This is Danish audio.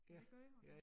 Det gør hun